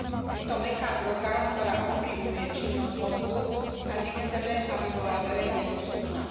Je to mäkká droga, ktorá ovplyvňuje činnosť mozgu, a nechceme, aby bola verejne dostupná.